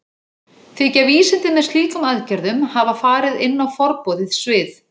Þykja vísindin með slíkum aðgerðum hafa farið inn á forboðið svið.